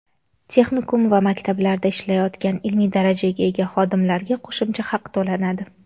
texnikum va maktablarda ishlayotgan ilmiy darajaga ega xodimlarga qo‘shimcha haq to‘lanadi.